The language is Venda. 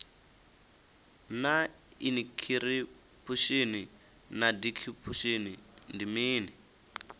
naa inikhiripushini na dikhipushin ndi mini